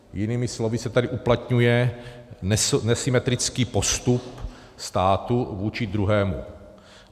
Jinými slovy se tady uplatňuje nesymetrický postup státu vůči druhému.